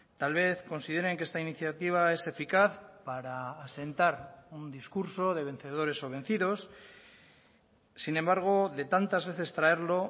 tal vez consideren que esta iniciativa es eficaz para asentar un discurso de vencedores o vencidos sin embargo de tantas veces traerlo